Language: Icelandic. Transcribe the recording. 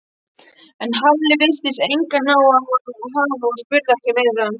En Halli virtist engan áhuga hafa og spurði ekki meira.